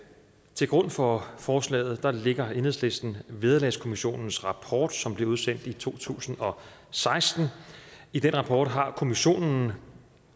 til grund for forslaget lægger enhedslisten vederlagskommissionens rapport som blev udsendt i to tusind og seksten i den rapport har kommissionen